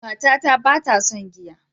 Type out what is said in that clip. Matata ba ta son giya.